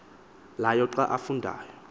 layo xa afundayo